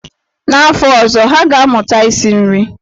N'afọ ọzọ, ha ga-amụta isi nri.